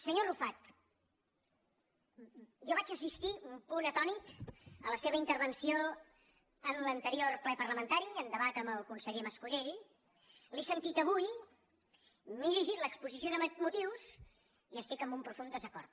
senyor arrufat jo vaig assistir un punt atònit a la seva intervenció en l’anterior ple parlamentari en debat amb el conseller mas colell l’he sentit avui m’he llegit l’exposició de motius i hi estic en un profund desacord